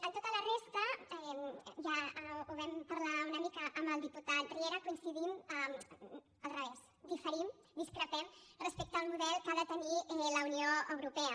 en tota la resta ja ho vam parlar una mica amb el diputat riera diferim discrepem respecte al model que ha de tenir la unió europea